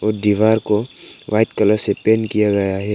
वो दीवार को व्हाइट कलर से पेंट किया गया है।